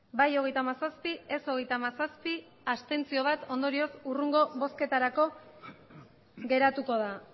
bai hogeita hamazazpi ez hogeita hamazazpi abstentzioak bat ondorioz hurrengo bozketarako geratuko da